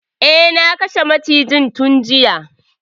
Eh, na kashe macijin tun juya.